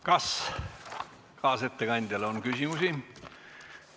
Kas kaasettekandjale on küsimusi?